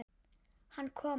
Hann kom ekki.